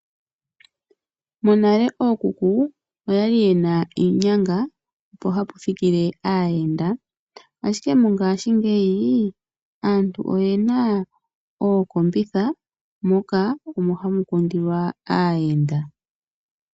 Monale ookuku oyali yena iinyanga mpo hapu thikile aayenda ashike mongaashingeyi aantu oyena ooseti moka omo hamu kundilwa aayenda.